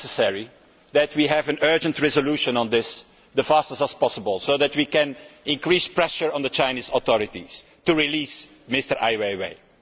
It is necessary for us to have an urgent resolution on this as fast as possible so that we can increase pressure on the Chinese authorities to release Mr Ai Weiwei.